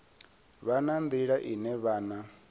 vha na nḓila ine vhana